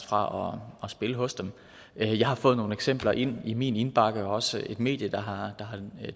fra at spille hos dem jeg har fået nogle eksempler ind i min indbakke der er også et medie der har